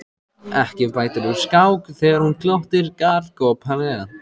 Ekki bætir úr skák þegar hún glottir galgopalega.